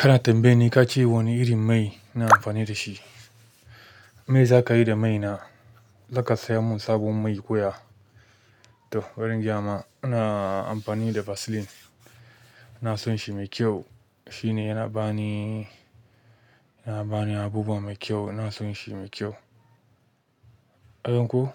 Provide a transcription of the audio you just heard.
Kana tambaya kace wane irin mai nake amfani dashi kana tambaya na zaka sayo sabon mai ne koya to bai ingayama, ina amfani da Vaseline. Na so shi mai kyau. Shi ne yana ba ni, yana ba ni abubuwa mai kyau. Na so shi mai kyau. Don ko,